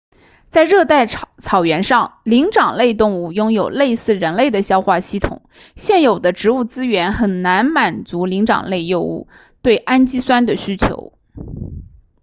在热带草原上灵长类动物拥有类似人类的消化系统现有的植物资源很难满足灵长类动物对氨基酸的需求